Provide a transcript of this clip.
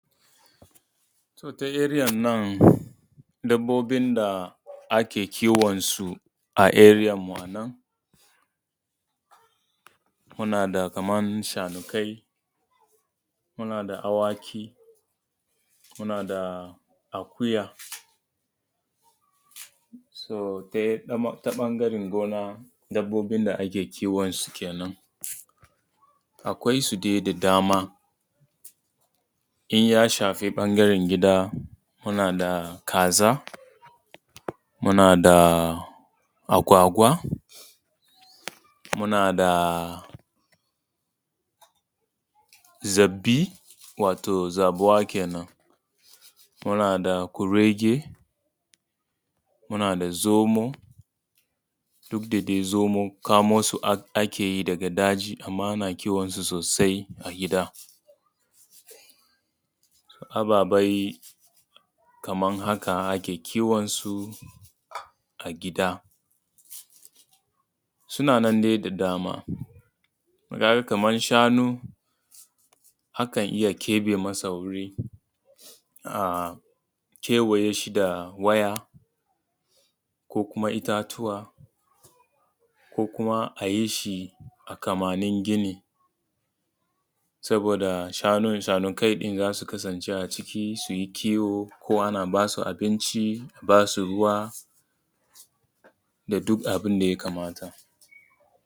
To ta area nan dabobin da ake kiwon su a area mu a nan muna da kamar shanukai, muna da awaki, muna da akuya. To ta ɓangaran gona dabobin da ake kiwon su kenan. Akwai su dai da dama in ya shafi ɓangaran gida muna da kaza, muna da agwagawa, muna da zabbi, wato zabuwa kenan, muna da kurege, muna da zomo, duk da dai zomo kamo su ake yi daga daji amma ana kiwon su sosai a gida, da ababe kamar haka ake kiwon su a gida. Suna na dai da dama, ka ga kamar shanu akan iya keɓe masa wuri a kewaye shi da waya ko kuma itatuwa, ko kuma a yishi a kamanin gini saboda shanukai ɗin za su kasance a ciki su yi kiwo, ko ana ba su abinci, a basu ruwa da duk abin da ya kamata.